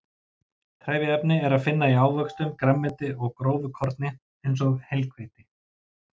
Trefjaefni er að finna í ávöxtum, grænmeti og grófu korni, eins og heilhveiti.